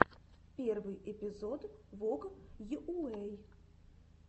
первый эпизод вог йуэй